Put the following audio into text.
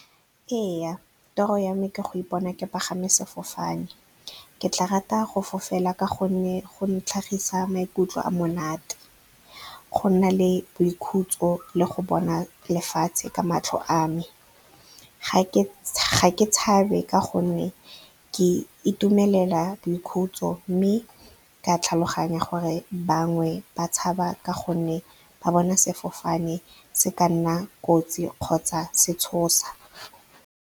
Ee, toro ya me ke go ipona ke pagama sefofane. Ke tla rata go fofela ka gonne go ntlhagisa maikutlo a monate, go na le boikhutso le go bona lefatshe ka matlho a me. Ga ke tshabe ka gonne ke itumelela boikhutso, mme ka tlhaloganya gore bangwe ba tshaba ka gonne ba bona sefofane se ka nna kotsi kgotsa se tshosa.